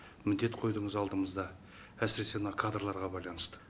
міндет қойдыңыз алдымызда әсіресе мына кадрларға байланысты